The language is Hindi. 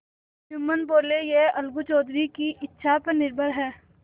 जुम्मन बोलेयह अलगू चौधरी की इच्छा पर निर्भर है